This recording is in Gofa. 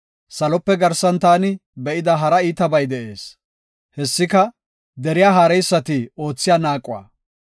Salope garsan taani be7ida hara iitabay de7ees. Hessika deriya haareysati oothiya naaquwa.